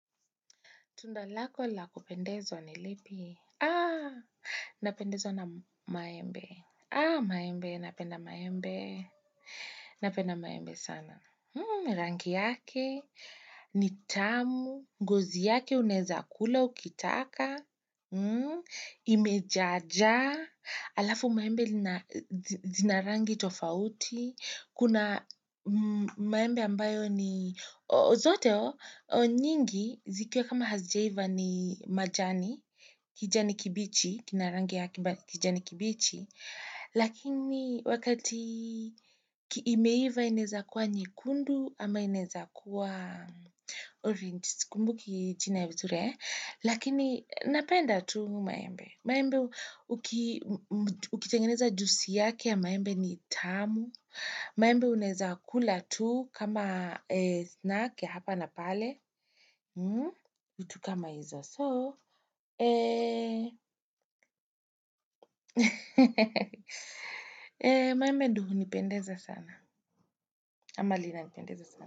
Tundalako lakupendezo ni lipi? Aa, napendezwa na maembe. Aa, maembe, napenda maembe. Napenda maembe sana. Hmm, rangi yake, nitamu, gozi yake unaeza kula ukitaka. Hmm, imejaja. Alafu maembe lina rangi tofauti. Kuna maembe ambayo ni zote, nyingi, zikiwa kama hazijaiva ni majani, kijani kibichi, kinarangi yake, kijani kibichi, lakini wakati imeiva inaeza kuwa nyekundu ama inaeza kuwa 'orange', sikumbuki jina vizuri, lakini napenda tu maembe. Maembe, uki,,, ukitengeneza jusi yake ya maembe ni tamu. Maembe unaeza kula tu kama 'snack' ya hapa na pale. Vitu kama hizo so. Maembe ndio hunipendeza sana. Ama linanipendeza sana.